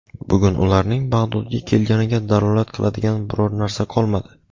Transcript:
Bugun ularning Bag‘dodga kelganiga dalolat qiladigan biror narsa qolmadi.